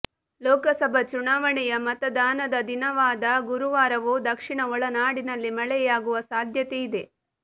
ಲೋಕಸಭಾ ಚುನಾವಣೆಯ ಮತದಾನದ ದಿನವಾದ ಗುರುವಾರವೂ ದಕ್ಷಿಣ ಒಳನಾಡಿನಲ್ಲಿ ಮಳೆಯಾಗುವ ಸಾಧ್ಯತೆಯಿದೆ